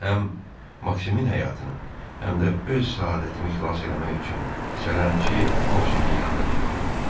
Həm Maksimin həyatını, həm də öz səadətini xilas eləmək üçün sərərləm ki, qopşəkin yanına getdim.